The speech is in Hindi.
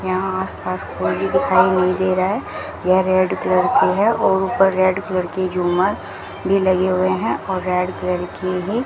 यहां आस पास कोई भी दिखाई नहीं दे रहा है यह रेड कलर की है और ऊपर रेड कलर की झूमर भी लगे हुए हैं और रेड कलर के ही --